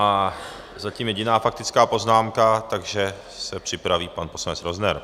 A zatím jediná faktická poznámka, takže se připraví pan poslanec Rozner.